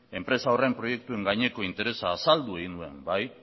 enpresa horren proiektuen gaineko interesa azaldu egin nuen